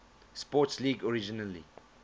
sports league originally